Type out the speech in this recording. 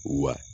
Wa